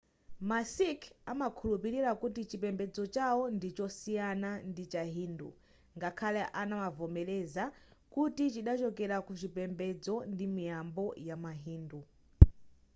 ma sikh amakhulupilira kuti chipembedzo chawo ndichosiyana ndi chi hindu ngakhale amavomereza kuti chidachokera kuchipembedzo ndi miyambo ya ma hindu